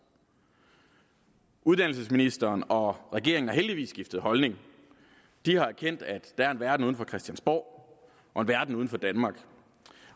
uddannelsesministeren og regeringen har heldigvis skiftet holdning de har erkendt at der er en verden uden for christiansborg og en verden uden for danmark